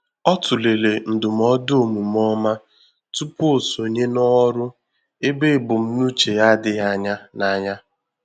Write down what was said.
Ọ tụlere ndụmọdụ omume ọma tupu o sonye ná òrụ́ ébé ebumnuche ya adịghị anya n’anya